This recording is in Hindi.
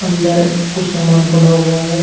अंदर कुछ सामान पड़ा हुआ है।